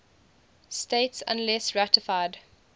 states unless ratified